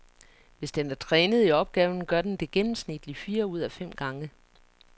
Hvis den er trænet i opgaven, gør den det gennemsnitlig fire ud af fem gange.